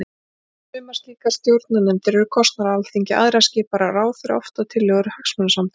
Sumar slíkar stjórnarnefndir eru kosnar af Alþingi, aðrar skipaðar af ráðherra, oft að tillögu hagsmunasamtaka.